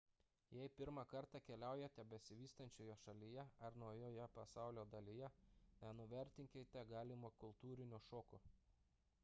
jei pirmą kartą keliaujate besivystančioje šalyje ar naujoje pasaulio dalyje nenuvertinkite galimo kultūrinio šoko